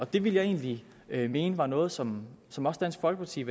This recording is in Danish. det ville jeg egentlig mene var noget som som også dansk folkeparti